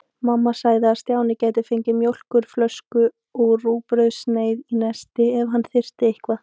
Mamma sagði að Stjáni gæti fengið mjólkurflösku og rúgbrauðssneið í nesti ef hann þyrfti eitthvað.